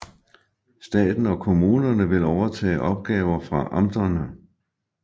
Staten og kommunerne vil overtage opgaver fra amterne